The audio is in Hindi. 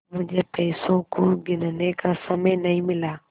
मुझे पैसों को गिनने का समय नहीं मिला